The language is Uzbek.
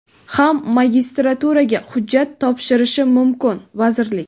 ham magistraturaga hujjat topshirishi mumkin - vazirlik.